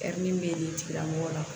min bɛ tigilamɔgɔ la